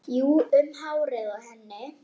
Jú, um hárið á henni!